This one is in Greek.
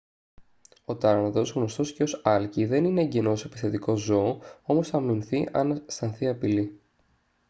ο τάρανδος γνωστός και ως άλκη δεν είναι εγγενώς επιθετικό ζώο όμως θα αμυνθεί αν αισθανθεί απειλή